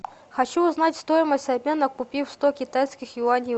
хочу узнать стоимость обмена купив сто китайских юаней